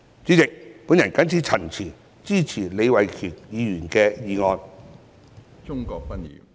主席，我謹此陳辭，支持李慧琼議員的議案。